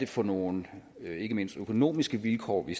for nogle ikke mindst økonomiske vilkår vi